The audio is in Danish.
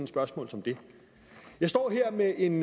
spørgsmål som det jeg står her med en